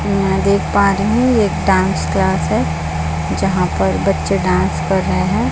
मैं यहाँ देख पा रही हु ये एक डांस क्लास है जहाँ पर बच्चे डांस कर रहे है।